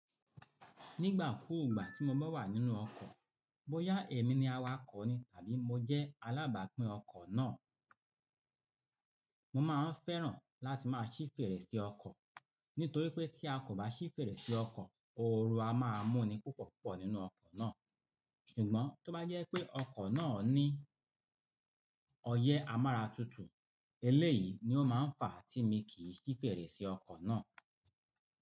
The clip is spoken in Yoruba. Nígbà kúùgbà tí mo bá wà nínú ọkọ̀, bóyá èmi ni awakọ̀ ni tàbí mo jẹ́ alábàápín ọkọ̀ náà, mo máa ń fẹ́ràn láti máa ṣí fèrèsé ọkọ̀. Nítorí pé tí a kò bá ṣí fèrèsé ọkọ̀, ooru a máa mú ni púpọ̀púpọ̀ nínú ọkọ̀ náà. Ṣùgbọ́n tó bá jẹ́ pé ọkọ̀ náà ní ọyẹ́ amára tútù, eléyìí ni ó máa ń fa tí mi kì í ṣí fèrèsé ọkọ̀ náà.